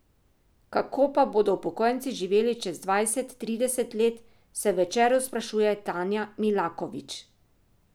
Kako pa bodo upokojenci živeli čez dvajset, trideset let, se v Večeru sprašuje Tanja Milakovič.